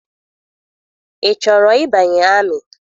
Ị chọrọ ịbanye amị?